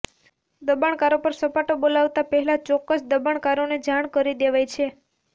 દબાણકારો પર સપાટો બોલાવતાં પહેલાં ચોક્કસ દબાણકારોને જાણ કરી દેવાય છે